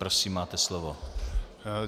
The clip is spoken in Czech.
Prosím, máte slovo.